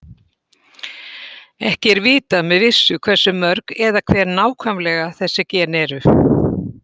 Ekki er vitað með vissu hversu mörg eða hver nákvæmlega þessi gen eru.